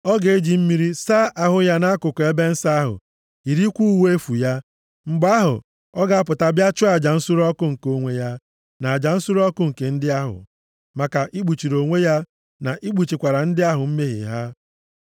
Ọ ga-eji mmiri saa ahụ ya nʼakụkụ ebe nsọ ahụ, yirikwa uwe efu ya. Mgbe ahụ, ọ ga-apụta bịa chụọ aja nsure ọkụ nke onwe ya, na aja nsure ọkụ nke ndị ahụ, maka ikpuchiri onwe ya, na ikpuchikwara ndị ahụ mmehie ha.